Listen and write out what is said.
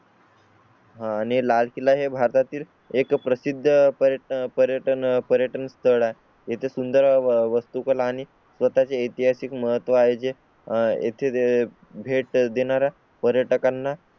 हां आणि लाल किल्ला हे भारतातील एक प्रसिद्ध पर्यटन पर्यटन स्थळ आहे. येथे सुंदर वस्तु कला आणि स्वतः चे ऐतिहासिक महत्व आहे जे आहे ते भेट देणार आहेत. पर्यटकांना